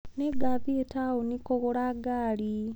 Nĩngathiĩ taũni kũgũra ngaari.